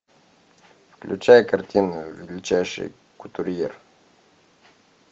включай картину величайший кутюрье